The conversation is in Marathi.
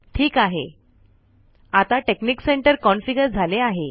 ठीक आहे आता टेकनिक सेंटर कॉन्फिगर झाले आहे